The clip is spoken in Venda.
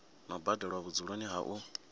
no badelwa vhudzuloni ha u